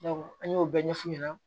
an y'o bɛɛ ɲɛfu ɲɛna